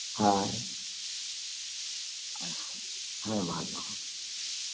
হ্যাঁ, হ্যাঁ ভালো